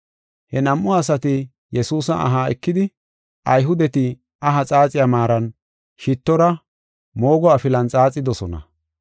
He nam7u asati Yesuusa aha ekidi, Ayhudeti aha xaaxiya maaran, shittora, moogo afilan xaaxidosona.